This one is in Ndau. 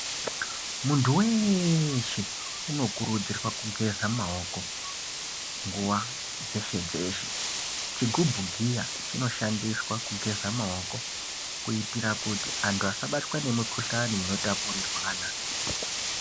Muntu weshe unokurudzirwa kugeza maoko nguwa dzeshe dzeshe chigubhu giya chinoshandiswa kugeza maoko kuitira kuti antu asabatwa ngemikuhlani inotapirirwana.